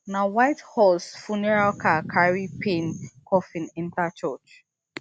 na white horse funeral car carry payne coffin enta church